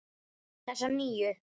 Þessa nýju.